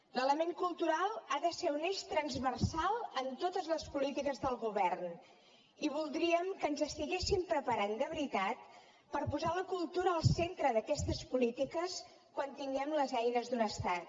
l’element cultural ha de ser un eix transversal en totes les polítiques del govern i voldríem que ens estiguéssim preparant de veritat per posar la cultura al centre d’aquestes polítiques quan tinguem les eines d’un estat